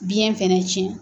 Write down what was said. Biyɛn fɛnɛ cɛn.